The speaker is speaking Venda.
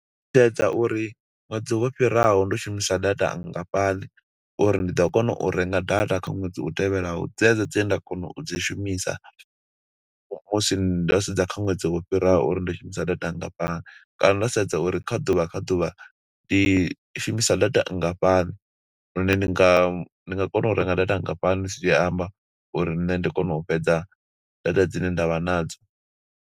U sedza uri ṅwedzi wo fhiraho ndo shumisa data nngafhani, uri ndi ḓo kona u renga data kha ṅwedzi u tevhelaho, dzedzo dze nda kona u dzi shumisa. Musi ndo sedza kha ṅwedzi wo fhiraho, uri ndo shumisa data ngafhani. Kana ndo sedza uri kha ḓuvha kha ḓuvha, ndi shumisa data nngafhani, lune ndi nga ndi nga kona u renga data nngafhani, zwi amba uri nṋe ndi kone u fhedza data dzine nda vha nadzo.